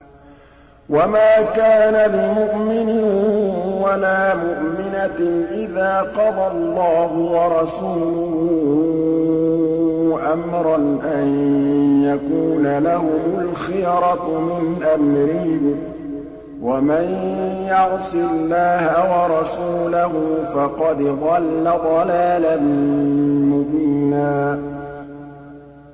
وَمَا كَانَ لِمُؤْمِنٍ وَلَا مُؤْمِنَةٍ إِذَا قَضَى اللَّهُ وَرَسُولُهُ أَمْرًا أَن يَكُونَ لَهُمُ الْخِيَرَةُ مِنْ أَمْرِهِمْ ۗ وَمَن يَعْصِ اللَّهَ وَرَسُولَهُ فَقَدْ ضَلَّ ضَلَالًا مُّبِينًا